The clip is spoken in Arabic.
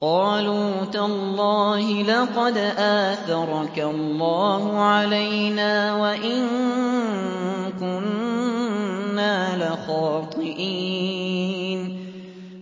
قَالُوا تَاللَّهِ لَقَدْ آثَرَكَ اللَّهُ عَلَيْنَا وَإِن كُنَّا لَخَاطِئِينَ